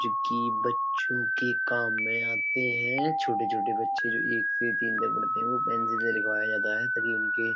चूकि बच्चों के काम में आते हैं। छोटे छोटे बच्चे जो एक से तीन तक पढ़ते हैं। वो पेंसिल से लिखवाया जाता है। ताकी उनके --